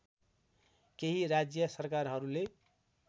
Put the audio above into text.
केही राज्य सरकारहरूले